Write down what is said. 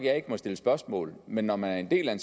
jeg ikke må stille spørgsmål men når man er en del af en